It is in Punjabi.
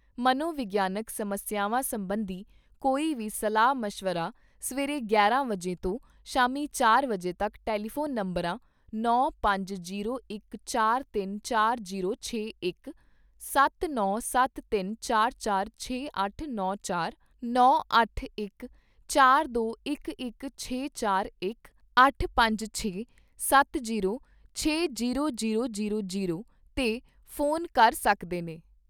ਮਨੋਵਿਗਿਆਨਕ ਸਮੱਸਿਆਵਾਂ ਸਬੰਧੀ ਕੋਈ ਵੀ ਸਲਾਹ ਮਸ਼ਵਰਾ ਸਵੇਰੇ ਗਿਆਰਾਂ ਵਜੇ ਤੋਂ ਸ਼ਾਮੀ ਚਾਰ ਵਜੇ ਤੱਕ ਟੈਲੀਫੋਨ ਨੰਬਰਾਂ ਨੌ, ਪੰਜ, ਜੀਰੋ, ਇਕ, ਚਾਰ, ਤਿੰਨ, ਚਾਰ ਜੀਰੋ, ਛੇ, ਇਕ ਜਾਂ ਸੱਤ, ਨੌ, ਸੱਤ, ਤਿੰਨ, ਚਾਰ, ਚਾਰ, ਛੇ, ਅੱਠ, ਨੌ, ਚਾਰ ਜਾਂ ਨੌ, ਅੱਠ, ਇਕ, ਚਾਰ, ਦੋ, ਇਕ, ਇਕ, ਛੇ, ਚਾਰ, ਇਕ ਜਾਂ ਅੱਠ, ਪੰਜ, ਛੇ, ਸੱਤ, ਜੀਰੋ, ਛੇ, ਜੀਰੋ, ਜੀਰੋ, ਜੀਰੋ, ਜੀਰੋ 'ਤੇ ਫੋਨ ਕਰ ਸਕਦੇ ਨੇ।